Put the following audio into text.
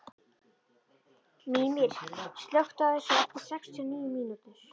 Mímir, slökktu á þessu eftir sextíu og níu mínútur.